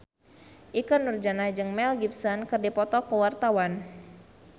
Ikke Nurjanah jeung Mel Gibson keur dipoto ku wartawan